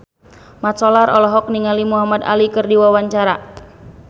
Mat Solar olohok ningali Muhamad Ali keur diwawancara